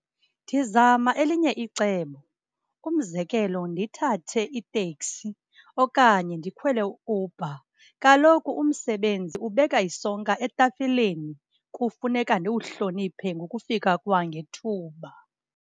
Ndizama elinye icebo. Umzekelo, ndithathe itekisi okanye ndikhwele u-Uber. Kaloku umsebenzi ubeka isonka etafileni, kufuneka ndiwuhloniphe ngokufika kwangethuba.